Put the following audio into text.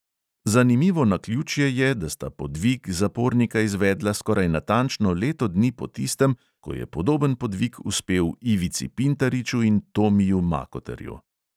Zanimivo naključje je, da sta podvig zapornika izvedla skoraj natančno leto dni po tistem, ko je podoben podvig uspel ivici pintariču in tomiju makoterju.